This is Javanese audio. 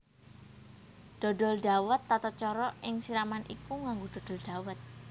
Dodol Dhawet Tatacara ing siraman iku nganggo dodol dhawèt